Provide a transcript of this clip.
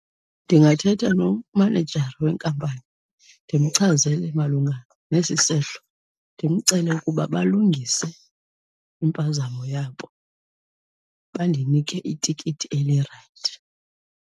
Ndingathetha nomanejara wenkampani ndimchazele malunga nesi sehlo, ndimcele ukuba balungise impazamo yabo bandinike itikiti elirayithi.